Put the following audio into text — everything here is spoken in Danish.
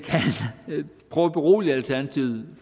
prøve at berolige alternativet